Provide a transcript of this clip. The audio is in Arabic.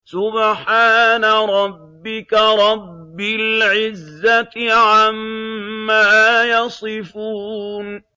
سُبْحَانَ رَبِّكَ رَبِّ الْعِزَّةِ عَمَّا يَصِفُونَ